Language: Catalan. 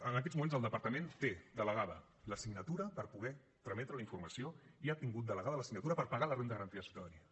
en aquests moments el departament té delegada la signatura per poder trametre la informació i ha tingut delegada la signatura per pagar la renda garantida de ciutadania